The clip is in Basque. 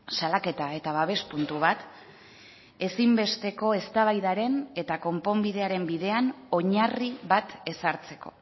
salaketa eta babes puntu bat ezinbesteko eztabaidaren eta konponbidearen bidean oinarri bat ezartzeko